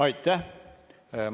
Aitäh!